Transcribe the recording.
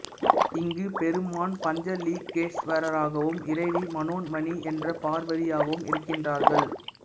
இங்குப் பெருமான் பஞ்சலிங்கேஸ்வரராகவும் இறைவி மனோன்மணி என்ற பார்வதியாகவும் இருக்கின்றார்கள்